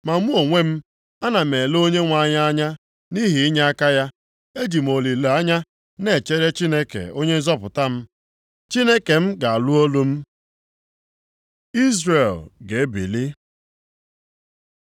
Ma mụ onwe m, ana m ele Onyenwe anyị anya nʼihi inyeaka ya. Eji m olileanya na-echere Chineke Onye nzọpụta m. Chineke m ga-anụ olu m. Izrel ga-ebili